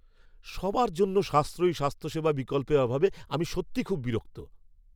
সবার জন্য সাশ্রয়ী স্বাস্থ্যসেবা বিকল্পের অভাবে আমি সত্যিই খুব বিরক্ত।